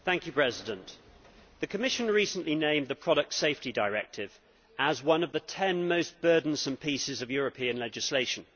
Mr President, the Commission recently named the Product Safety Directive as one of the ten most burdensome pieces of European legislation.